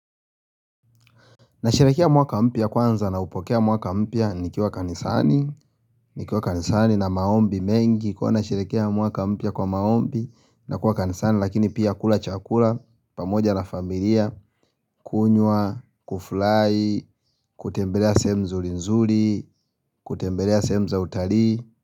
Nasherehekea mwaka mpya kwanza na upokea mwaka mpya nikiwa kanisani nikiwa kanisani na maombi mengi kuwa nasherehekea mwaka mpya kwa maombi na kuwa kanisani lakini pia kula chakula pamoja na familia kunywa, kufurahi, kutembelea sehemu nzuri nzuri, kutembelea sehemu za utarii.